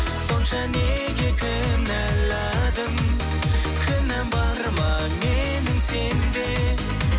сонша неге кінәладың кінәм бар ма менің сенде